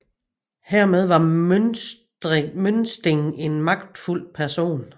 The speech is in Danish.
Hermed var Møsting en magtfuld person